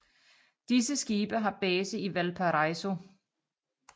Disse skibe har base i Valparaíso